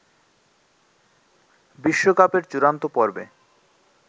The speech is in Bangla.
বিশ্বকাপের চূড়ান্ত পর্বে